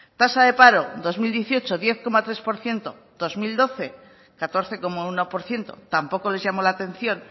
tasa de paro dos mil dieciocho diez coma tres por ciento dos mil doce catorce coma uno por ciento tampoco les llamó la atención